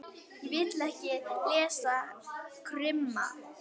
Ég vil ekki lesa krimma.